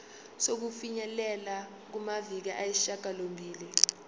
sokufinyelela kumaviki ayisishagalombili